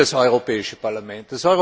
Was will das Europäische Parlament?